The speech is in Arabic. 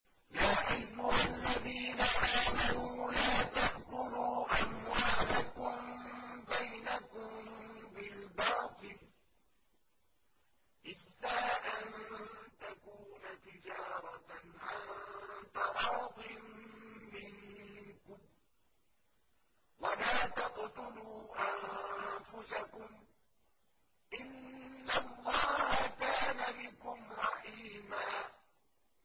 يَا أَيُّهَا الَّذِينَ آمَنُوا لَا تَأْكُلُوا أَمْوَالَكُم بَيْنَكُم بِالْبَاطِلِ إِلَّا أَن تَكُونَ تِجَارَةً عَن تَرَاضٍ مِّنكُمْ ۚ وَلَا تَقْتُلُوا أَنفُسَكُمْ ۚ إِنَّ اللَّهَ كَانَ بِكُمْ رَحِيمًا